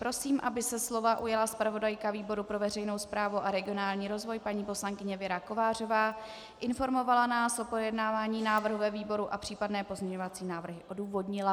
Prosím, aby se slova ujala zpravodajka výboru pro veřejnou správu a regionální rozvoj paní poslankyně Věra Kovářová, informovala nás o projednávání návrhu ve výboru a případné pozměňovací návrhy odůvodnila.